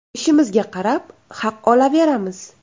Ishimizga qarab haq olaveramiz.